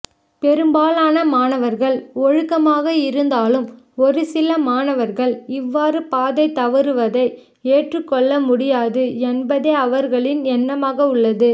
பெரும்பாலான மாணவர்கள் ஒழுக்கமாக இருந்தாலும் ஒருசில மாணவர்கள் இவ்வாறு பாதை தவறுவதை ஏற்றுக்கொள்ள முடியாது என்பதே அவர்களின் எண்ணமாக உள்ளது